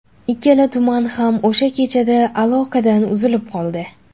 Ikkala tuman ham o‘sha kechada aloqadan uzilib qoldi .